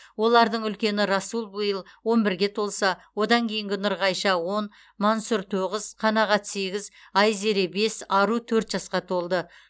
олардың үлкені расул биыл он бірге толса одан кейінгі нұрғайша он мансұр тоғыз қанағат сегіз айзере бес ару төрт жасқа толды